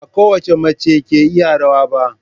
Ba kowace mace ce ke iya rawa ba.